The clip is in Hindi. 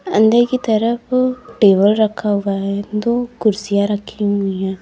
अंदर की तरफ टेबल रखा हुआ है दो कुर्सियां रखी हुई है।